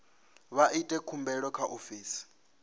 vha ite khumbelo kha ofisi